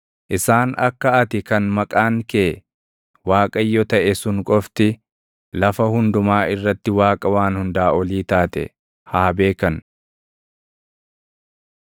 Isaan akka ati kan maqaan kee Waaqayyo taʼe sun qofti, lafa hundumaa irratti Waaqa Waan Hundaa Olii taate haa beekan.